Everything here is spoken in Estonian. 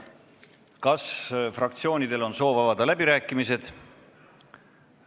Kas fraktsioonidel on soov avada läbirääkimised?